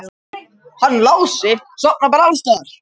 Hann Lási sofnar bara alls staðar.